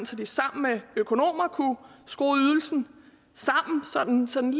så de sammen med økonomer kunne skrue ydelsen sammen så den